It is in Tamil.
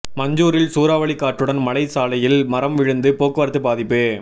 மஞ்சூரில் சூறாவளி காற்றுடன் மழை சாலையில் மரம் விழுந்து போக்குவரத்து பாதிப்பு